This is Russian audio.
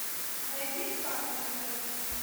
найди спас на тв